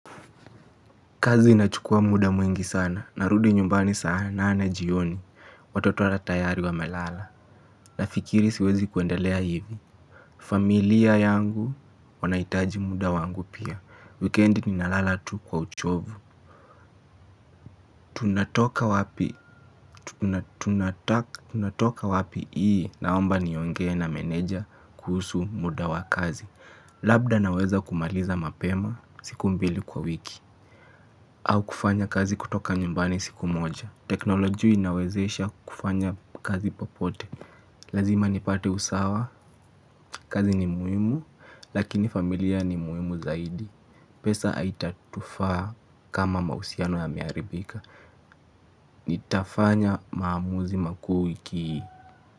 Kazi inachukua muda mwingi sana, narudi nyumbani saa nane jioni, watoto ata tayari wamelala, nafikiri siwezi kuendelea hivi. Familia yangu wanahitaji muda wangu pia, wikendi ninalala tu kwa uchovu. Tunatoka wapi hii naomba niongee na meneja kuhusu muda wa kazi, labda naweza kumaliza mapema siku mbili kwa wiki. Au kufanya kazi kutoka nyumbani siku moja. Teknolojia inawezesha kufanya kazi popote. Lazima nipate usawa. Kazi ni muhimu. Lakini familia ni muimu zaidi. Pesa haitatufaa kama mahusiano yameharibika. Nitafanya maamuzi makuu wiki hii.